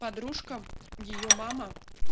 подружка её мама